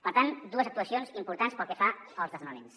per tant dues actuacions importants pel que fa als desnonaments